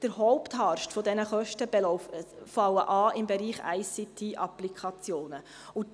Der Hauptharst dieser Kosten fällt im Bereich ICT-Applikationen an.